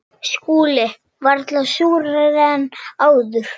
SKÚLI: Varla súrari en áður.